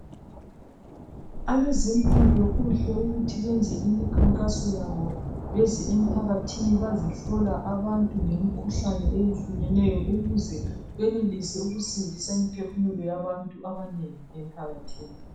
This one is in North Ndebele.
Abezempilo kuhle ukuthi benze imikhankaso yabo beze emphakathini bazohlola abantu ngemikhuhlane eyehlukeneyo ukuze benelise ukusindisa imphefumulo yabantu abanengi emphakathini.